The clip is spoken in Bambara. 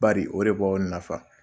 Bari o de b'aw nafa.